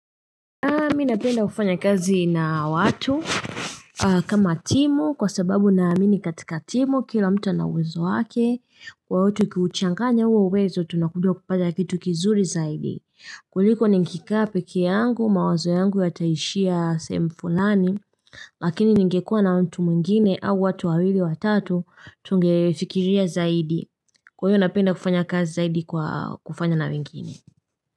Mi napenda kufanya kazi na watu kama timu kwa sababu naamini katika timu kila mtu ana uwezo wake kwa watu ukiuchanganya huo uwezo tunakuja kufanya kitu kizuri zaidi, kuliko nikikaa pekee yangu mawazo yangu yataishia sehemu fulani lakini ningekua na mtu mwingine au watu wawili watatu tungefikiria zaidi kwa hiyo napenda kufanya kazi zaidi kwa kufanya na wengine.